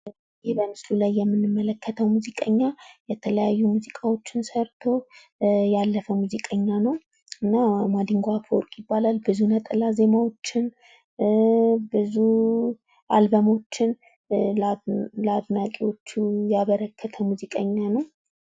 ህሀ በምስሉ ላይ የምንመለከተዉ ሙዚቀኛ የተለያዩ ሙዚቃዎችን ሰርቶ ያለፈ ሙዚቀኛ ነዉ። ማዲንጎ አፈወርቅ ይባላል።